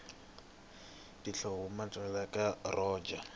tihhomu tanhova atina bwanyi roja